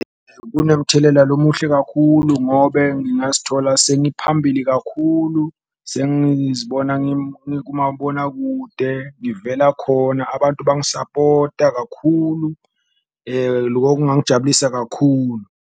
Kunemthelela lomuhle kakhulu ngobe ngingazithola sengiphambili kakhulu sengizibona ngikumabonakude ngivela khona abantu bangisapota kakhulu, loko kungangijabulisa kakhulu.